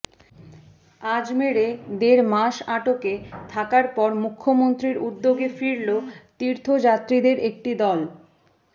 আজমেঢ়ে দেড় মাস আটকে থাকার পর মুখ্যমন্ত্রীর উদ্যোগে ফিরল তীর্থযাত্রীদের একটি দল